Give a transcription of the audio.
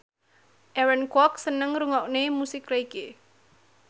Aaron Kwok seneng ngrungokne musik reggae